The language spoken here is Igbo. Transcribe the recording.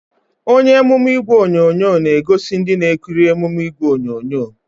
Onye emume ìgwè onyonyo na-egosi ndị na-ekiri emume ìgwè onyonyo